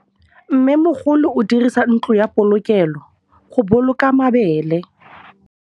Mmêmogolô o dirisa ntlo ya polokêlô, go boloka mabele.